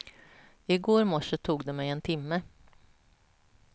I går morse tog det mig en timme.